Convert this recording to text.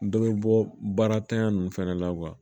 Dɔ bɛ bɔ baaratanya nunnu fɛnɛ la